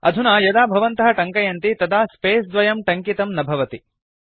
अधुना यदा भवन्तः टङ्कयन्ति तदा स्पेस द्वयं टङ्कितं न भवति